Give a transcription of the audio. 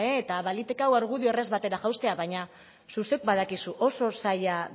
eta baliteke hau argudio erraz batera jaustea baina zuk zeuk badakizu oso zaila